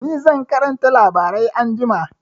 Ni zan karanta labarai anjima.